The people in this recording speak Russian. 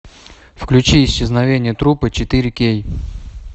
включи исчезновение трупа четыре кей